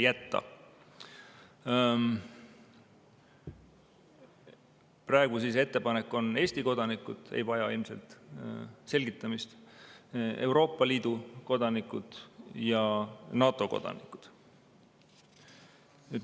Praegu on ettepanek see: võivad Eesti kodanikud – see ei vaja ilmselt selgitamist –, Euroopa Liidu ja NATO kodanikud.